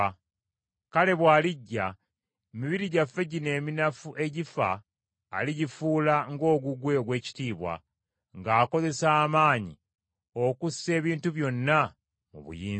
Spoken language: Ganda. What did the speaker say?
Kale bw’alijja emibiri gyaffe gino eminafu egifa aligifuula ng’ogugwe ogw’ekitiibwa, ng’akozesa amaanyi okussa ebintu byonna mu buyinza bwe.